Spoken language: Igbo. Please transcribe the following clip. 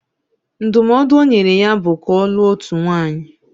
Ndụmọdụ o nyere ya bụ ka ọ lụọ otu nwaanyị